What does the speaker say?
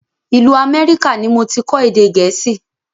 Ìlú Amẹ́ríkà ni moti kọ́ èdè gẹ̀ẹ́sì